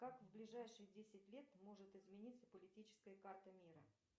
как в ближайшие десять лет может измениться политическая карта мира